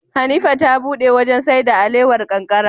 Hanifa ta buɗe wajan saida alewar kankara